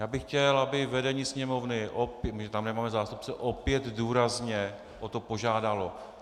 Já bych chtěl, aby vedení Sněmovny - my tam nemáme zástupce - opět důrazně o to požádalo.